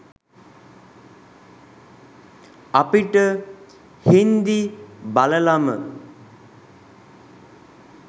අපිට හින්දි බලලම